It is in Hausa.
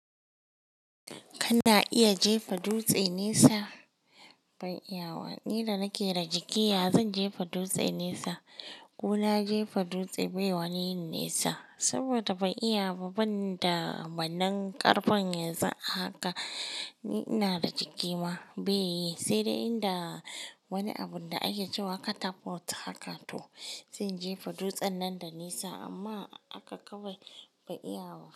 Kana iya jefa dutse nesa? Ban iya ba, ni da nake da jiki ya zan jefa dutse nesa, ko na jefa dutse bai wani yin nesa saboda ban iya ba ban da wanan karfin yanzu a haka. Ni ina da jiki ma bai yi, sai dai inda wani abun da ake cewa catapult haka to zai jefa dutsen nan da nesa amma aka kawai bai iya ba.